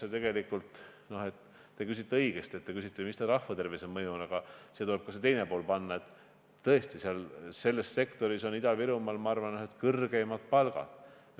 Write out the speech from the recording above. Kui nüüd küsida, nagu te õigesti küsite, et milline on selle mõju rahvatervisele, siis tuleb siia ka see teine pool juurde panna, et tõesti, selles sektoris on Ida-Virumaal, ma arvan, ühed kõrgeimad palgad.